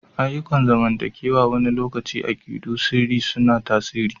Ayyukan zamantakewa wani lokaci akidu na sirri suna tasiri.